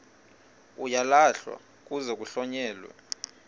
uyalahlwa kuze kuhlonyelwe